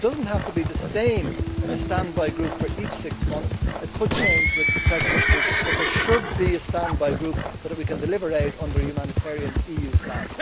It does not have to be the same standby group for each six months, it could change with the Presidency, but there should be a standby group so that we can deliver aid under a humanitarian EU flag.